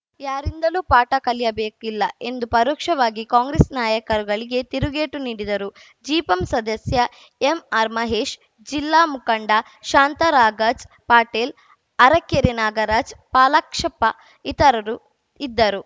ಯಾರಿಂದಲೂ ಪಾಠ ಕಲಿಯಬೇಕಿಲ್ಲ ಎಂದು ಪರೋಕ್ಷವಾಗಿ ಕಾಂಗ್ರೆಸ್‌ ನಾಯಕರುಗಳಿಗೆ ತಿರುಗೇಟು ನೀಡಿದರು ಜಿಪಂ ಸದಸ್ಯ ಎಂಆರ್‌ಮಹೇಶ್‌ ಜಿಲ್ಲಾ ಮುಖಂಡ ಶಾಂತರಾಗಜ್‌ ಪಾಟೀಲ್‌ ಅರಕೆರೆ ನಾಗರಾಜ್‌ ಪಾಲಾಕ್ಷಪ್ಪ ಇತರರು ಇದ್ದರು